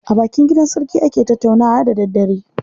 A bakin gidan sarki ake tattaunawa da daddare.